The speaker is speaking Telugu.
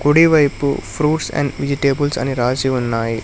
కుడి వైపు ఫ్రూట్స్ అండ్ విజిటేబుల్స్ అని రాశి ఉన్నాయి.